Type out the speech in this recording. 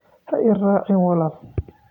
Ha i qarxin wiil